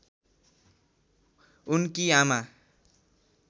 उनकी आमा